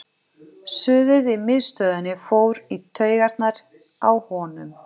Suðið í miðstöðinni fór í taugarnar á honum.